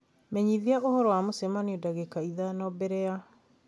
menyithia ũhoro wa mũcemanio dagĩka ithano mbere ya .